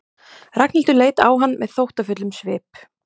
Ragnhildur leit á hann með þóttafullum svip.